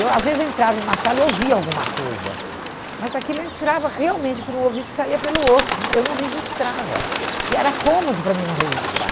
Eu às vezes entrava em uma sala e ouvia alguma coisa, mas aquilo eu entrava realmente por um ouvido e saía pelo outro, eu não registrava, porque era cômodo para mim não registrar.